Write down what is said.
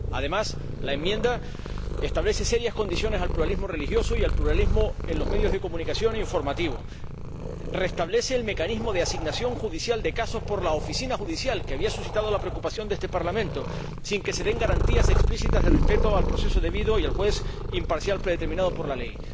Además, la enmienda establece serias condiciones al pluralismo religioso y al pluralismo en los medios de comunicación e informativo y restablece el mecanismo de asignación judicial de casos por la Oficina judicial, que había suscitado la preocupación de este Parlamento, sin que se den garantías explícitas de respeto al proceso debido y al juez imparcial predeterminado por la ley.